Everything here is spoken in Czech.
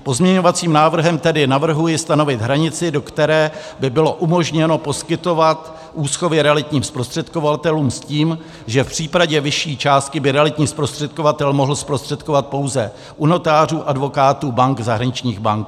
Pozměňovacím návrhem tedy navrhuji stanovit hranici, do které by bylo umožněno poskytovat úschovy realitním zprostředkovatelům, s tím, že v případě vyšší částky by realitní zprostředkovatel mohl zprostředkovat pouze u notářů, advokátů, bank, zahraničních bank.